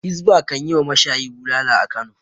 Hizba kan yi wa mashayi bulala a Kano.